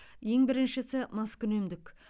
ең біріншісі маскүнемдік